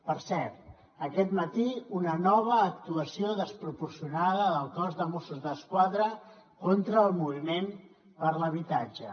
per cert aquest matí una nova actuació desproporcionada del cos de mossos d’esquadra contra el moviment per l’habitatge